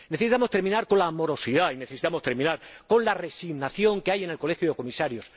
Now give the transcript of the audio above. Necesitamos terminar con la morosidad y necesitamos terminar con la resignación que hay en el colegio de Comisarios.